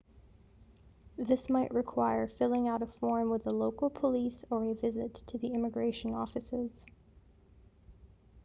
this might require filling out a form with the local police or a visit to the immigration offices